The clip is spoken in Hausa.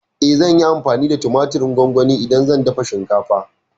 Eh, zan yi amfani da tumatirin gongoni idan zan dafa shinkafa.